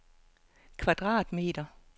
kvadratmeter